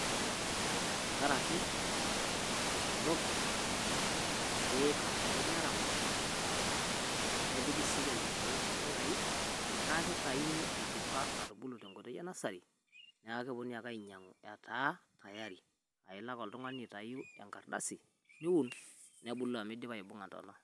Tenkaraki natuunoki, pee eikarrari neramati nepiki sii lelo kiek impuyayi naa kitayuni eidipa atubulu te nkoitoi e nursery. Niaku keponunui ake ainyiang`u etaa tayari aa ilo ake oltung`ani aitayu enkardasi niun nebulu amu idipa aibung`ata too ntona.